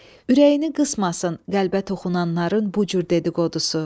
Ürəyini qısmasın qəlbə toxunanların bu cür dedi-qodusu.